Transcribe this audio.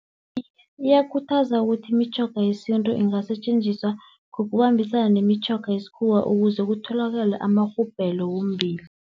Iye, iyakhuthaza ukuthi imitjhoga yesintu ingasetjenziswa ngokubambisana nemitjhoga yesikhuwa, ukuze kutholakale amarhubhelo wombilo.